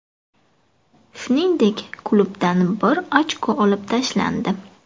Shuningdek, klubdan bir ochko olib tashlandi.